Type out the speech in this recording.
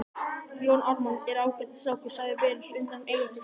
Jón Ármann er ágætis strákur, sagði Venus undan Eyjafjöllum.